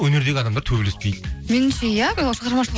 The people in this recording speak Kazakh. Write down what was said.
өнердегі адамдар төбелеспейді меніңше иә шығармашылық